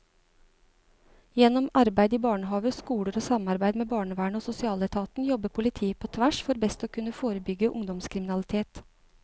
Gjennom arbeid i barnehaver, skoler og samarbeid med barnevernet og sosialetaten jobber politiet på tvers for best å kunne forebygge ungdomskriminalitet.